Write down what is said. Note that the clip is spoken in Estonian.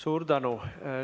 Suur tänu!